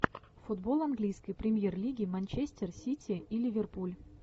футбол английской премьер лиги манчестер сити и ливерпуль